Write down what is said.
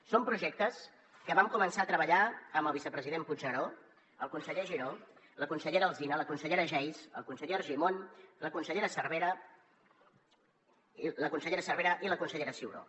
són projectes que vam començar a treballar amb el vicepresident puigneró el conseller giró la consellera alsina la consellera geis el conseller argimon la consellera cervera i la consellera ciuró